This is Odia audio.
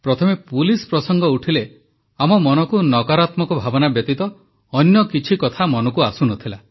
ପ୍ରଥମେ ପୁଲିସ୍ ପ୍ରସଙ୍ଗ ଉଠିଲେ ଆମ ମନକୁ ନକାରାତ୍ମକ ଭାବନା ବ୍ୟତୀତ ଅନ୍ୟ କିଛି କଥା ଆସୁନଥିଲା